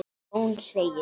Jón segir